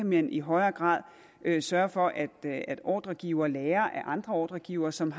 man i højere grad kan sørge for at at ordregivere lærer af andre ordregivere som